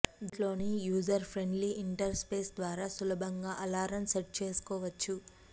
దీంట్లోని user friendly interface ద్వారా సులభంగా అలారం సెట్ చేసుకోవచ్చు